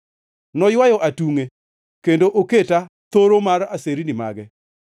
Noywayo atungʼe kendo oketa thoro mar aserni mage.